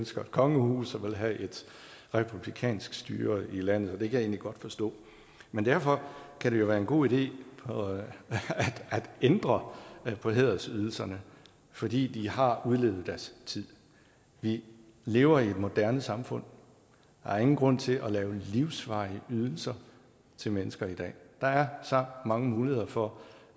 ønsker et kongehus og vil have et republikansk styre i landet det kan jeg egentlig godt forstå men derfor kan det jo være en god idé at ændre på hædersydelserne fordi de har udlevet deres tid vi lever i et moderne samfund der er ingen grund til at lave livsvarige ydelser til mennesker i dag der er så mange muligheder for